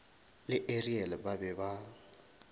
le ariel ba be ba